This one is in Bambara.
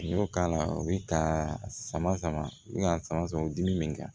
N'i y'o k'a la o bɛ ka sama sama i bɛ ka sama sama o dimi min kan